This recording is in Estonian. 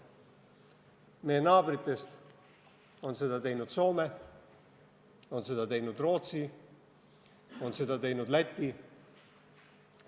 Meie naabritest on seda teinud Soome, on seda teinud Rootsi, on seda teinud Läti.